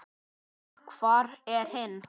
Ha, hvar er hinn?